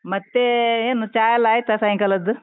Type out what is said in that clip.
ಮತ್ತೆ ಏನು ಚಾ ಎಲ್ಲ ಆಯ್ತಾ, ಸಾಯಂಕಾಲದ್ದು?